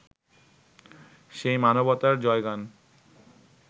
সেই মানবতার জয়গান